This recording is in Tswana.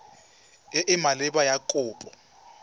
e e maleba ya kopo